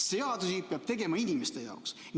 Seadusi peab tegema inimeste jaoks.